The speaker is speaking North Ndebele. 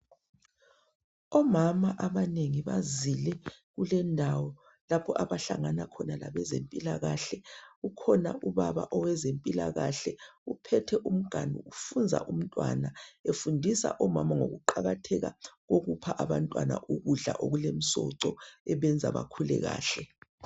Omama abanengi bazile kule indawo lapho abahlangana khona labezempilkahle. Ukhona ubaba owezempilakhle uphethe umganu ufunza umntwana efundisa omama ngokuqakatheka kokupha abantwana ukudla okulemsoco ebenza bakhule kahle